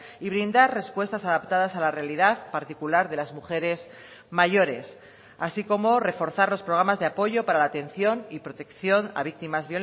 y brindar respuestas adaptadas a la realidad particular de las mujeres mayores así como reforzar los programas de apoyo para la atención y protección a víctimas